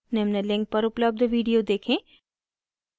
निम्न link पर उपलब्ध video देखें